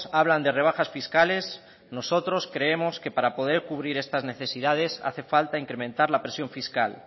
hablan de rebajas fiscales nosotros creemos que para poder cubrir estas necesidades hace falta incrementar la presión fiscal